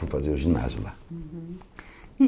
Fui fazer o ginásio lá.